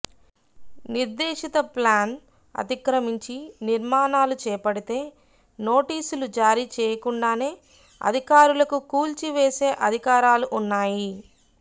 నిర్దేశిత ప్లాన్ అతిక్రమించి నిర్మాణాలు చేపడితే నోటీసులు జారీ చేయకుండానే అధికారులకు కూల్చివేసే అధికారాలు ఉన్నాయి